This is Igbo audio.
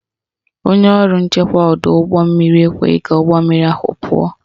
Onye ọrụ nchekwa ọdọụgbọmmiri ekweghị ka ụgbọmmiri ahụ pụọ